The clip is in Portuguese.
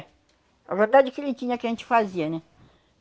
A verdade é que ele tinha que a gente fazia, né?